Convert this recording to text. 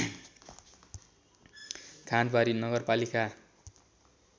खाँदबारी नगरपालिका